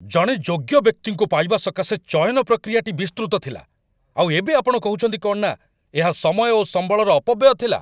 ଜଣେ ଯୋଗ୍ୟ ବ୍ୟକ୍ତିଙ୍କୁ ପାଇବା ସକାଶେ ଚୟନ ପ୍ରକ୍ରିୟାଟି ବିସ୍ତୃତ ଥିଲା, ଆଉ ଏବେ ଆପଣ କହୁଛନ୍ତି କ'ଣ ନା ଏହା ସମୟ ଓ ସମ୍ବଳର ଅପବ୍ୟୟ ଥିଲା।